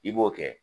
I b'o kɛ